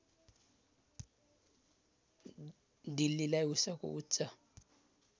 दिल्लीलाई उसको उच्च